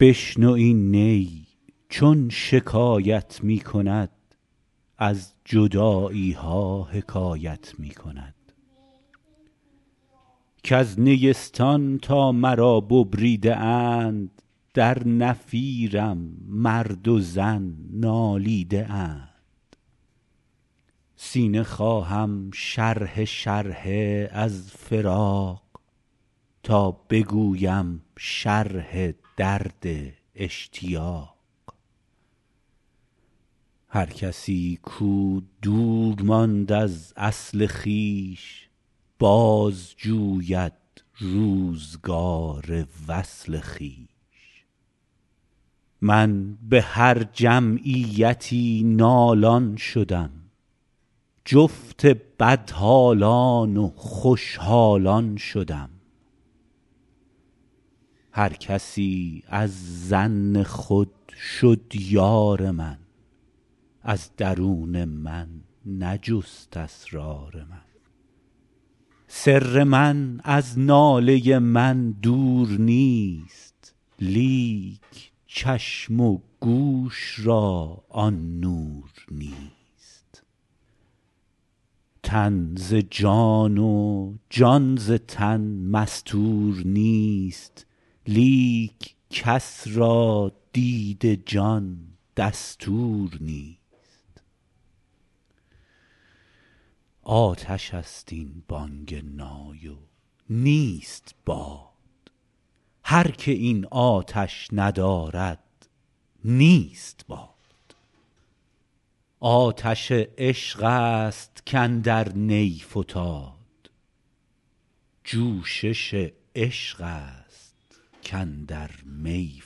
بشنو این نی چون شکایت می کند از جدایی ها حکایت می کند کز نیستان تا مرا ببریده اند در نفیرم مرد و زن نالیده اند سینه خواهم شرحه شرحه از فراق تا بگویم شرح درد اشتیاق هر کسی کو دور ماند از اصل خویش باز جوید روزگار وصل خویش من به هر جمعیتی نالان شدم جفت بدحالان و خوش حالان شدم هر کسی از ظن خود شد یار من از درون من نجست اسرار من سر من از ناله من دور نیست لیک چشم و گوش را آن نور نیست تن ز جان و جان ز تن مستور نیست لیک کس را دید جان دستور نیست آتش است این بانگ نای و نیست باد هر که این آتش ندارد نیست باد آتش عشق است کاندر نی فتاد جوشش عشق است کاندر می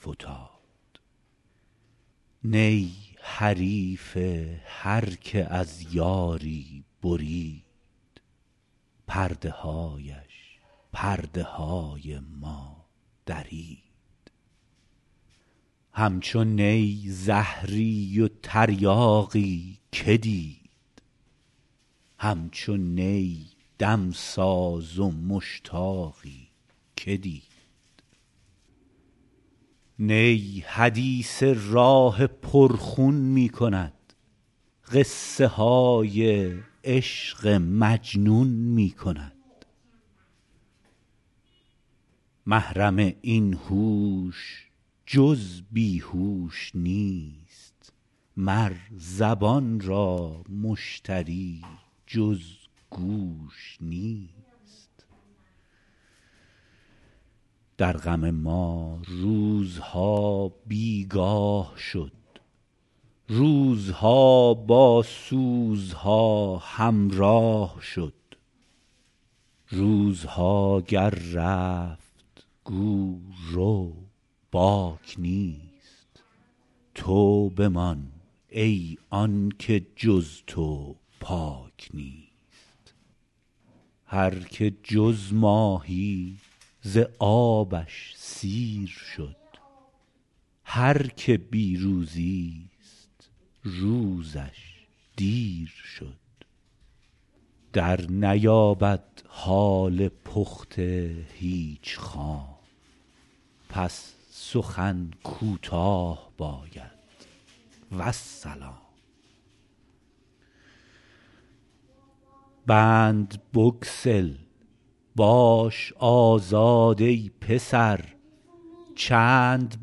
فتاد نی حریف هر که از یاری برید پرده هایش پرده های ما درید همچو نی زهری و تریاقی که دید همچو نی دمساز و مشتاقی که دید نی حدیث راه پر خون می کند قصه های عشق مجنون می کند محرم این هوش جز بی هوش نیست مر زبان را مشتری جز گوش نیست در غم ما روزها بیگاه شد روزها با سوزها همراه شد روزها گر رفت گو رو باک نیست تو بمان ای آنکه چون تو پاک نیست هر که جز ماهی ز آبش سیر شد هر که بی روزی ست روزش دیر شد در نیابد حال پخته هیچ خام پس سخن کوتاه باید والسلام بند بگسل باش آزاد ای پسر چند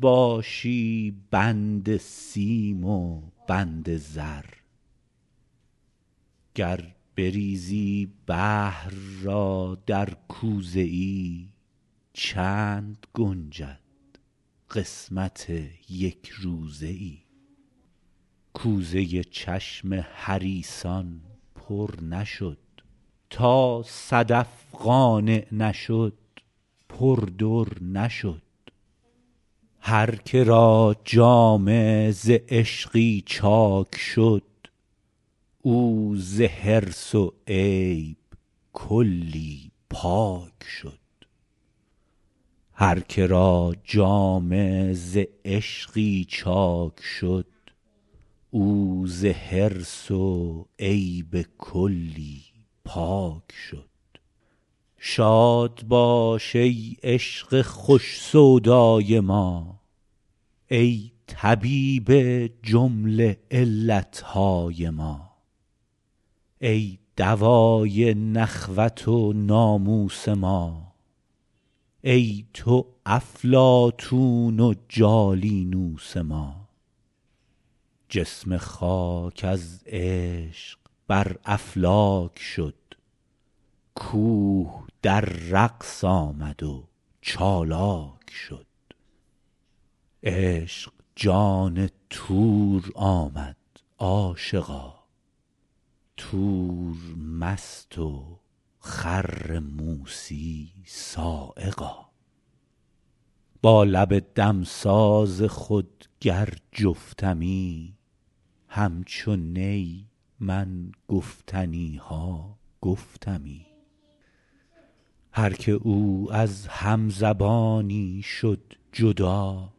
باشی بند سیم و بند زر گر بریزی بحر را در کوزه ای چند گنجد قسمت یک روزه ای کوزه چشم حریصان پر نشد تا صدف قانع نشد پر در نشد هر که را جامه ز عشقی چاک شد او ز حرص و عیب کلی پاک شد شاد باش ای عشق خوش سودای ما ای طبیب جمله علت های ما ای دوای نخوت و ناموس ما ای تو افلاطون و جالینوس ما جسم خاک از عشق بر افلاک شد کوه در رقص آمد و چالاک شد عشق جان طور آمد عاشقا طور مست و خر موسیٰ‏ صعقا با لب دمساز خود گر جفتمی همچو نی من گفتنی ها گفتمی هر که او از هم زبانی شد جدا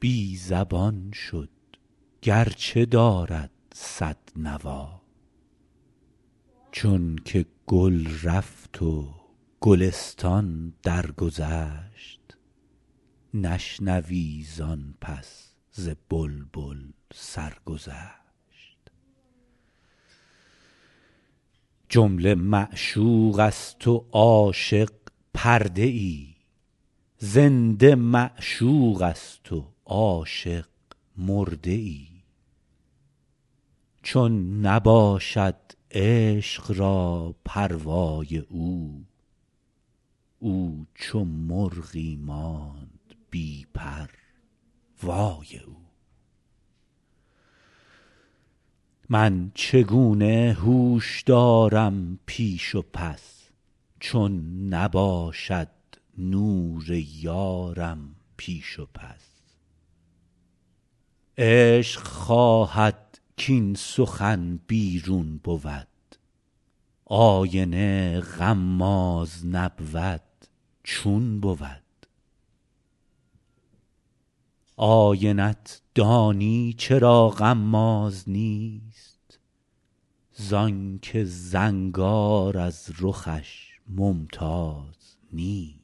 بی زبان شد گر چه دارد صد نوا چون که گل رفت و گلستان درگذشت نشنوی زآن پس ز بلبل سرگذشت جمله معشوق است و عاشق پرده ای زنده معشوق است و عاشق مرده ای چون نباشد عشق را پروای او او چو مرغی ماند بی پر وای او من چگونه هوش دارم پیش و پس چون نباشد نور یارم پیش و پس عشق خواهد کاین سخن بیرون بود آینه غماز نبود چون بود آینه ت دانی چرا غماز نیست زآن که زنگار از رخش ممتاز نیست